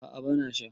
a a bana sha